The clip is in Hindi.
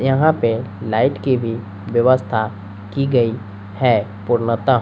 यहां पे लाइट की भी व्यवस्था की गई है पूर्णतः--